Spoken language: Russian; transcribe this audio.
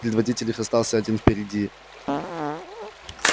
предводитель их остался один впереди